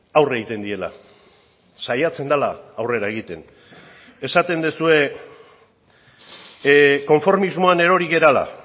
aurre egiten diela saiatzen dela aurrera egiten esaten duzue konformismoan erori garela